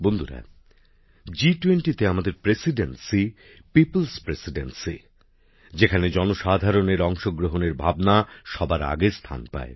বন্ধুরা জি20 তে আমাদের সভাপতিত্ব হল মানুষের নেতৃত্বে সভাপতিত্ব পিপলস প্রেসিডেন্সি যেখানে জনসাধারণের অংশগ্রহণের ভাবনা সবার আগে স্থান পায়